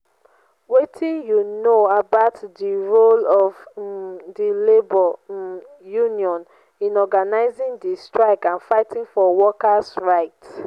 wetin you know about di role of um di labor um union in organizing di strike and fighting for worker's right?